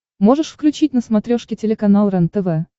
можешь включить на смотрешке телеканал рентв